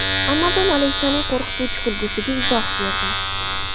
Amazon Alexa’ning qo‘rqituvchi kulgisiga izoh berdi.